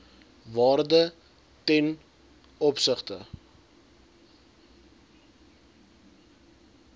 waarde ten opsigte